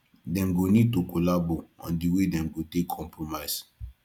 dem go need to collabo on di wey dem go take compromise